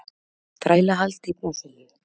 Þrælahald í Brasilíu.